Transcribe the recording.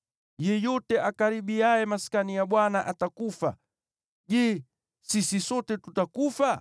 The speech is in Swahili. Yeyote akaribiaye Maskani ya Bwana atakufa. Je, sisi sote tutakufa?”